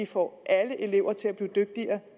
få alle elever til blive dygtigere